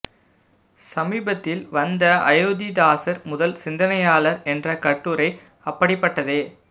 சமீபத்தில் வந்த அயோத்தி தாசர் முதல் சிந்தனையாளர் என்ற கட்டுரை அப்படிப்பட்டதே